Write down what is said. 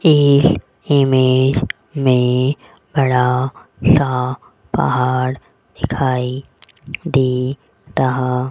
एक इमेज में बड़ा सा पहाड़ दिखाई दे रहा --